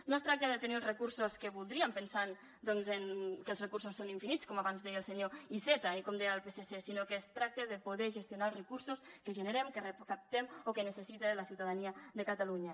no es tracta de tenir els recursos que voldríem pensant doncs que els recursos són infinits com abans deia el senyor iceta i com deia el psc sinó que es tracta de poder gestionar els recursos que generem que recaptem o que necessita la ciutadania de catalunya